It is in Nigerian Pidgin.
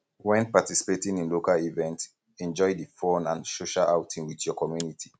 when participating in local event enjoy di fun and social outing with your community